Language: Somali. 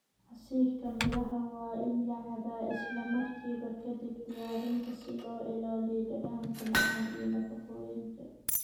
Casiirka miraha waa in la cabbaa isla markiiba ka dib diyaarinta si loo ilaaliyo dhadhanka macaan iyo nafaqooyinka.